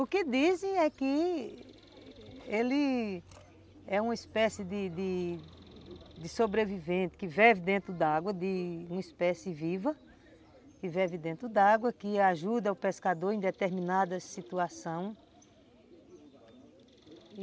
O que dizem é que ele é uma espécie de de sobrevivente, que vive dentro d'água, de uma espécie viva, que vive dentro d'água, que ajuda o pescador em determinada situação.